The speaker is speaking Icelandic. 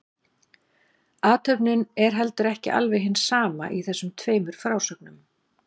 Athöfnin er heldur ekki alveg hin sama í þessum tveimur frásögnum.